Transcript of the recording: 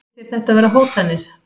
Heyrist þér þetta vera hótanir?